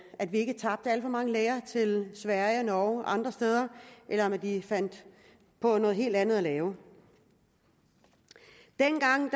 at vi ikke tabte alt for mange læger til sverige og norge og andre steder eller at de fandt på noget helt andet at lave dengang